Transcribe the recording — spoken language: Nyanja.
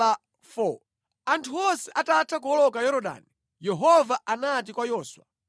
Anthu onse atatha kuwoloka Yorodani, Yehova anati kwa Yoswa,